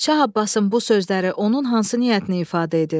Şah Abbasın bu sözləri onun hansı niyyətini ifadə edir?